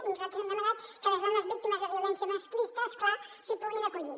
i nosaltres hem demanat que les dones víctimes de violència masclista és clar s’hi puguin acollir